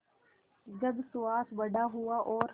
जब सुहास बड़ा हुआ और